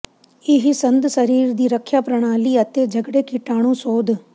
ਇਹ ਸੰਦ ਸਰੀਰ ਦੀ ਰੱਖਿਆ ਪ੍ਰਣਾਲੀ ਅਤੇ ਝਗੜੇ ਕੀਟਾਣੂ ਸੋਧ